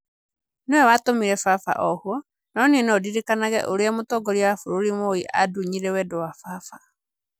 Nĩwe watũmire baba ohwo, no niĩ no ndirikanage ũrĩa Rais Moi andunyire wendo wa baba.